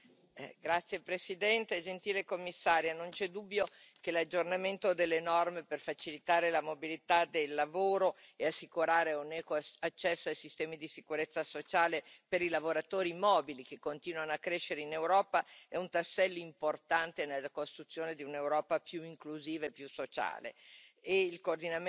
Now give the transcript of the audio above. Signor Presidente, onorevoli colleghi, gentile Commissaria, non c'è dubbio che l'aggiornamento delle norme per facilitare la mobilità del lavoro e assicurare un equo accesso ai sistemi di sicurezza sociale per i lavoratori mobili che continuano a crescere in Europa è un tassello importante nella costruzione di un'Europa più inclusiva e più sociale